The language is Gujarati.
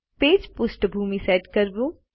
પેજ પૃષ્ઠભૂમિ સેટ કરવું